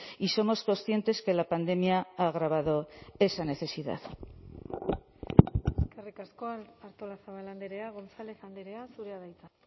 y somos conscientes que la pandemia ha agravado esa necesidad eskerrik asko artolazabal andrea gonzález andrea zurea da hitza